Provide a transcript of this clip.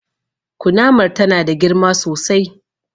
Kunamar ta na da girma sosai